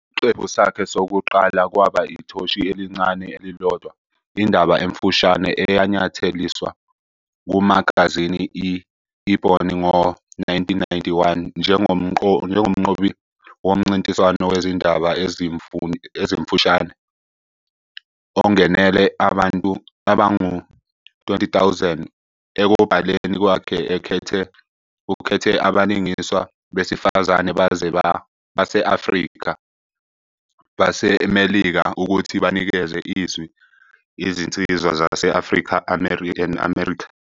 Isiqephu sakhe sokuqala kwaba "Ithoshi Elincane Elilodwa", indaba emfushane eyanyatheliswa kumagazini i -Ebony ngo-1991 njengomnqobi womncintiswano wezindaba ezimfushane ongenele abangu-20,000. Ekubhaleni kwakhe, ukhethe abalingiswa besilisa base-Afrika-baseMelika ukuthi banikeze izwi izinsizwa zase-Afrika-America.